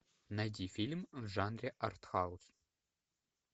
найди фильм в жанре артхаус